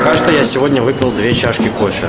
кажется я сегодня выпил две чашки кофе